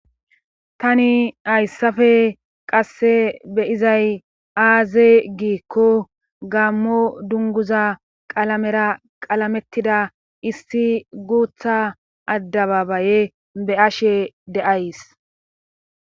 tani hayssafe qasse beyizay aaze giikko gammo dunguza qalamera qalamettida issi guutha addababaye be ashe deays